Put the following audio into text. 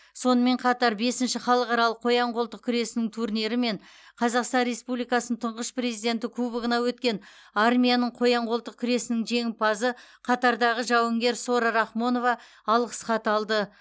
сонымен қатар бесінші халықаралық қоян қолтық күресінің турнирі мен қазақстан республикасының тұңғыш президенті кубогына өткен армияның қоян қолтық күресінің жеңімпазы қатардағы жауынгер сора рахмонова алғыс хат алды